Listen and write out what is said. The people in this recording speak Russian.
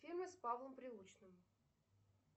фильмы с павлом прилучным